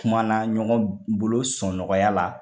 Kuma na ɲɔgɔn bolo sɔn nɔgɔya la